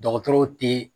Dɔgɔtɔrɔw te